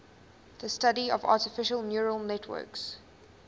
the study of artificial neural networks